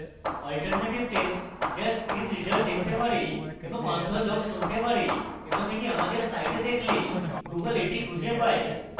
alternative text যা screen reader দেখতে পারে এবং অন্ধ লোক শুনতে পারে এবং এটি আমাদের site দেখলে google এটি খুঁজে পায়